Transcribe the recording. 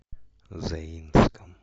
заинском